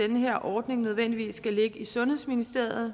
den her ordning nødvendigvis skal ligge i sundhedsministeriet